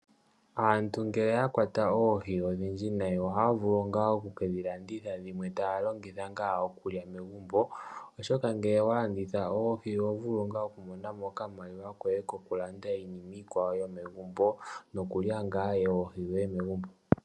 Aantu ngele ya kwata oohi odhindji nayi oha ya vulu oku ke dhilanditha nodhimwe ta ya longitha okulya megumbo. Oshoka ngele owa landitha oohi oho vulu oku mo namo okamaliwa koye ko kulandamo iinima iikwawo yomegumbo nokulya oohi dhoye megumbo.